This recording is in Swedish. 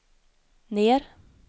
ner